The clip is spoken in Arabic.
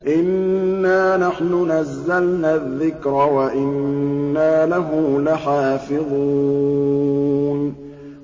إِنَّا نَحْنُ نَزَّلْنَا الذِّكْرَ وَإِنَّا لَهُ لَحَافِظُونَ